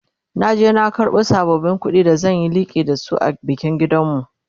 na je na karbo sabbabin ƙuɗin da zan Yi liƙi da su a bikin gidanmu